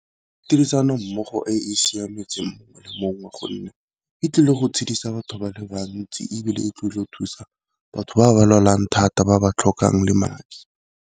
Tirisanommogo e e siametseng mongwe le mongwe wa gonne di tlile go itshidisa batho ba le bantsi, ebile e tlile go thusa batho ba ba lwalang thata ba ba tlhokang le madi.